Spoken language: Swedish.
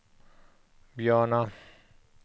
Björna